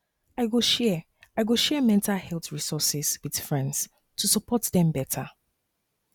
i go share i go share mental health resources with friends to support dem better